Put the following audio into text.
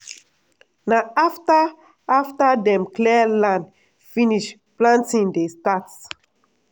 na afta afta dem clear land finish planting dey start.